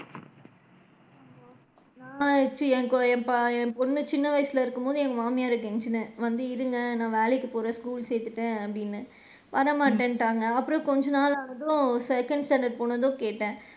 நான் என் போ என் ப என் பொண்ணு என் பொண்ணு சின்ன வயசுல இருக்கும் போது என் மாமியார்ற கெஞ்சினேன் வந்து இருங்க நான் வேலைக்கு போறேன் school சேத்துட்டேன் அப்படின்னு, வர மாட்டேன்டாங்க அப்பறம் கொஞ்ச நாள் ஆனதும் second standard போனதும் கேட்டேன்.